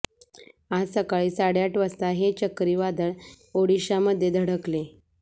आज सकाळी साडेआठ वाजता हे चक्रीवादळ ओडिशामध्ये धडकले